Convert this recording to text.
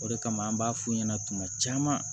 O de kama an b'a f'u ɲɛna tuma caman